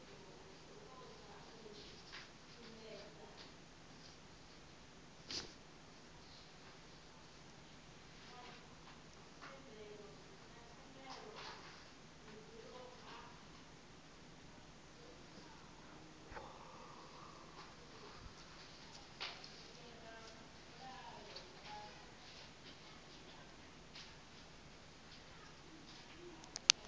utswa go bose ke papadi